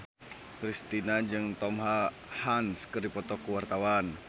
Kristina jeung Tom Hanks keur dipoto ku wartawan